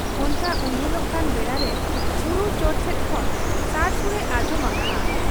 ᱚᱱᱠᱟ ᱩᱭᱦᱟᱹᱨᱚᱜ ᱠᱟᱱ ᱵᱮᱲᱟᱨᱮ ᱵᱩᱨᱩ ᱪᱚᱴ ᱥᱮᱫ ᱠᱷᱚᱱ ᱥᱟᱲᱥᱩᱲᱮ ᱟᱸᱡᱚᱢ ᱟᱠᱟᱜ ᱟ ᱾